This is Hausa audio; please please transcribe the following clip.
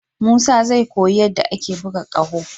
Musa zai koyi yadda ake buga ƙaho.